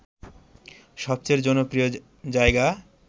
সবচেয়ে জনপ্রিয় জায়গা